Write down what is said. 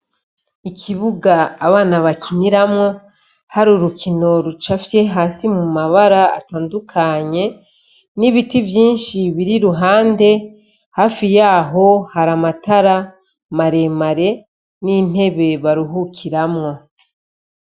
Ikibuga abana bakiniramwo Hari urukino rucafye hasi mu mabara atandukanye, n'ibiti vyinshi biri i ruhande hafi yaho Hari amatara maremare n'intebe baruhukiramwo.